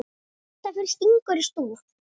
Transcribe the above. Þetta fyrir stingur í stúf.